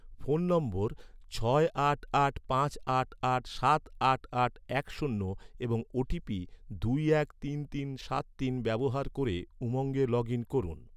phone নম্বর ছয় আট আট পাঁচ আট আট সাত আট আট এক শূন্য এবং ওটিপি দুই এক তিন তিন সাত তিন ব্যবহার ক’রে, উমঙ্গে লগ ইন করুন